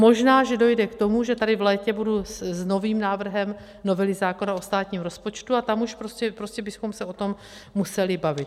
Možná že dojde k tomu, že tady v létě budu s novým návrhem novely zákona o státním rozpočtu, a tam už prostě bychom se o tom museli bavit.